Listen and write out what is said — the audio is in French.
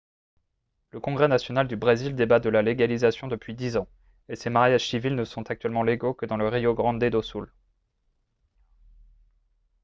le congrès national du brésil débat de la légalisation depuis 10 ans et ces mariages civils ne sont actuellement légaux que dans le rio grande do sul